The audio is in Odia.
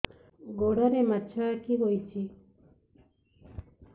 ଗୋଡ଼ରେ ମାଛଆଖି ହୋଇଛି